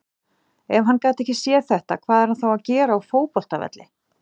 Ef hann gat ekki séð þetta, hvað er hann þá að gera á fótboltavelli?